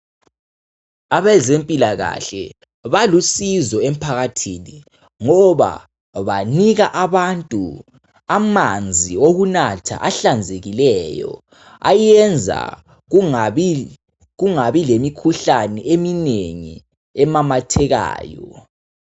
Abazempilakahle balusizo emphakathini ngoba banika abantu amanzi okunatha ahlanzekileyo ayenza kungabi, kungabi lemikhuhlane eminengi emamathekayo.